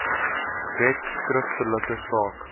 wet skriftelik saak